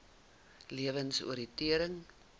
lewensoriëntering